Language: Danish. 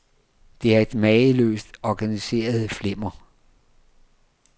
Det er et mageløst organiseret flimmer.